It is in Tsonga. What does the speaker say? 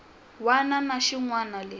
wana na xin wana lexi